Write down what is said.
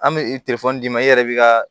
An bɛ d'i ma i yɛrɛ bɛ ka